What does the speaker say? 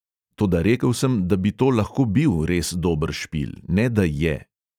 Toda rekel sem, da bi to lahko bil res dober špil, ne da je.